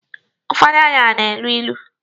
Ụfọdụ aṅara na-elu ilu.